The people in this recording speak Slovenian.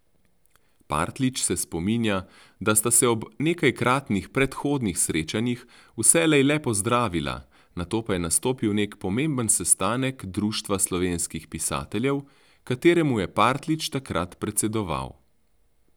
Partljič se spominja, da sta se ob nekajkratnih predhodnih srečanjih vselej le pozdravila, nato pa je nastopil nek pomemben sestanek Društva slovenskih pisateljev, kateremu je Partljič takrat predsedoval.